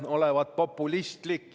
Kaja Kallas, kas protseduuriline küsimus?